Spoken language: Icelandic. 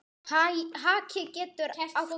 Haki getur átt við